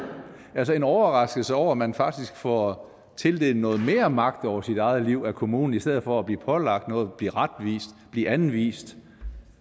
altså en overraskelse over at man faktisk får tildelt noget mere magt over sit eget liv af kommunen i stedet for at blive pålagt noget blive retvist blive anvist